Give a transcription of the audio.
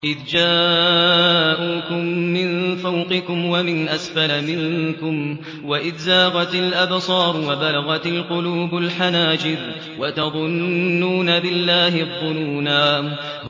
إِذْ جَاءُوكُم مِّن فَوْقِكُمْ وَمِنْ أَسْفَلَ مِنكُمْ وَإِذْ زَاغَتِ الْأَبْصَارُ وَبَلَغَتِ الْقُلُوبُ الْحَنَاجِرَ وَتَظُنُّونَ بِاللَّهِ الظُّنُونَا